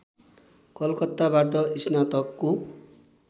कलकत्ताबाट स्नातकको